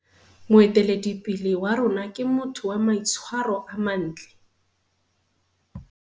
Moeteledipele wa rona ke motho wa maitshwaro a mantle.